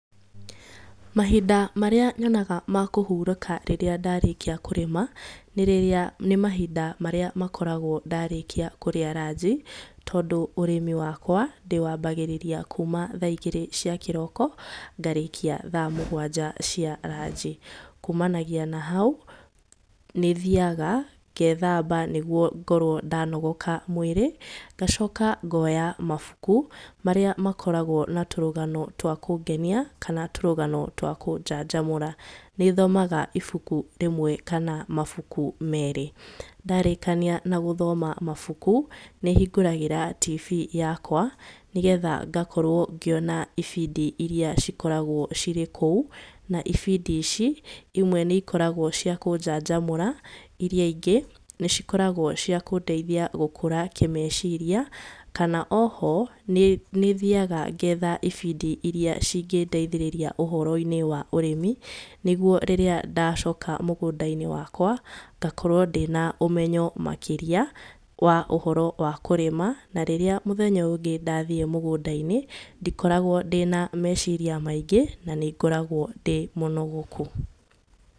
Mahinda marĩa nyonaga ma kũhurũka rĩrĩa ndarĩkia kũrĩma nĩ mahinda marĩa makoragwo ndarĩkia kũrĩa ranji, tondũ ũrĩmi wakwa ndĩwambagĩrĩria kuma thaa igĩrĩ cia kĩroko ngarĩkia thaa mũgwanja cia ranji. Kumanagia na hau nĩthiyaga ngethamba nĩguo ngorwo ndanogoka mwĩrĩ. Ngacoka ngoya mabuku marĩa makoragwo na tũrũgano twa kũngenia kana tũrũrano twa kũnjanjamũra. Nĩthomaga ibuku rĩmwe kana mabuku merĩ. Ndarĩkania na gũthoma mabuku nĩ hingũragĩra tibii yakwa nĩgetha ngakorwo ngĩona ibindi iria cikoragwo cirĩ kũu, na ibindi ici imwe nĩcikoragwo cia kũnjanjamũra iria ingĩ nĩcikoragwo ciakũndeithia gũkũra kĩmeciria. Kana oho nĩthiyaga ngetha ibindi iria cingĩndeithĩrĩria ũhoro-inĩ wa ũrĩmi. Nĩguo rĩrĩa ndacoka mũgũnda-inĩ wakwa ngakorwo ndĩna ũmenyo makĩria wa ũhoro wa kũrĩma. Na rĩrĩa mũthenya ũyũ ũngĩ ndathiĩ mũgũnda-inĩ ndikoragwo ndĩna meciria maingĩ na nĩ ngoragwo ndĩ mũnogoku.